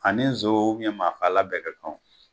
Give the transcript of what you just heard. Ani zon maa faalan bɛɛ ka kan